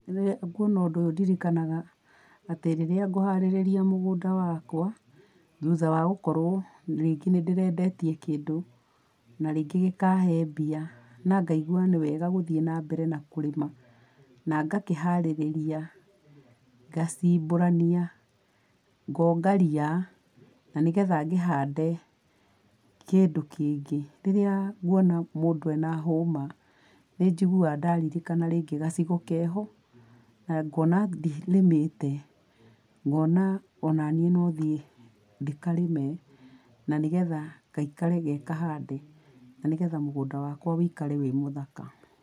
Rĩrĩa nguona ũndũ ũyũ ndirikanaga atĩ rĩrĩa ngũharĩrĩa mũgũnda wakwa, thutha wa gũkorwo rĩngĩ nĩ ndĩrendetie kĩndũ, na rĩngĩ gĩkahe mbia, na ngaigua nĩwega gũthiĩ na mbere na kũrĩma, na ngakĩharĩrĩa, ngacimburania, ngonga ria, na nĩgetha ngĩhande kĩndũ kĩngĩ. Rĩrĩa nguona mũndũ ena hũma, nĩ njiguaga ndaririkana rĩngĩ gacigo keho, na ngona ndirĩmĩte, ngona ona niĩ no thiĩ ndĩkarĩme na nĩgetha gaikare ge kahande, na nĩgetha mũgũnda wakwa wũikare wĩ mũthaka.